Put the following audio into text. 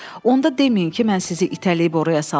Onda deməyin ki, mən sizi itələyib oraya saldım.